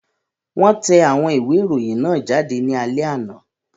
Wọ́n tẹ àwọn ìwé ìròyìn náà jáde ní alẹ́ àná.